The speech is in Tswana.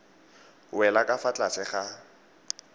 wela ka fa tlase ga